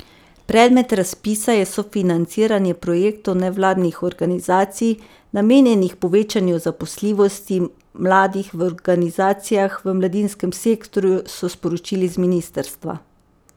Predmet razpisa je sofinanciranje projektov nevladnih organizacij, namenjenih povečanju zaposljivosti mladih v organizacijah v mladinskem sektorju, so sporočili z ministrstva.